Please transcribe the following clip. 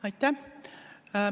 Aitäh!